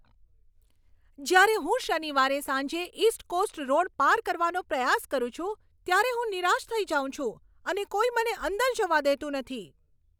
જ્યારે હું શનિવારે સાંજે ઈસ્ટ કોસ્ટ રોડ પાર કરવાનો પ્રયાસ કરું છું ત્યારે હું નિરાશ થઈ જાઉં છું અને કોઈ મને અંદર જવા દેતું નથી.